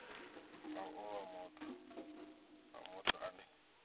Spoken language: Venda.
nga owa nga muthu ane